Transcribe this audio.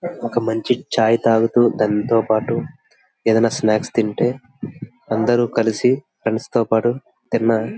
ఒక మంచి ఛాయ్ తాగుతూ దానితో పాటు ఏది ఆయన స్నాక్ తింటే అందరూ కలిసి ఫ్రెండ్స్ తో పటు తిన్నా --